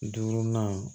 Duurunan